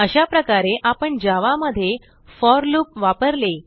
अशाप्रकारे आपण जावा मध्ये फोर लूप वापरले